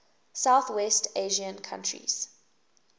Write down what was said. southwest asian countries